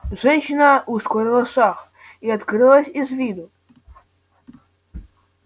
женщина ускорила шаг и открылась из виду